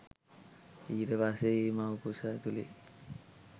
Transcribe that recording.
ඊට පස්සේ ඒ මව්කුස ඇතුළේ